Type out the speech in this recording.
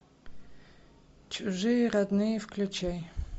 чужие родные включай